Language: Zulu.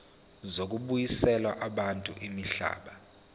zokubuyiselwa kwabantu imihlaba